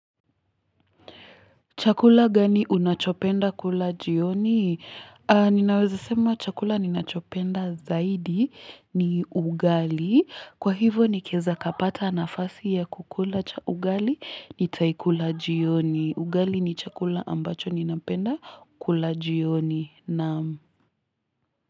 Chakula gani unachopenda kula jioni? Ninawezi sema chakula ninachopenda zaidi ni ugali. Kwa hivyo ni kiweza nikapata anafasi ya kukula ugali ni taikula jioni. Ugali ni chakula ambacho ninapenda kula jioni.